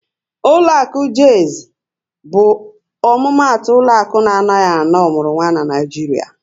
Ụlọakụ Jaiz bụ omumatu ụlọaku na anaghị ana ọmụrụnwa n'Naijiria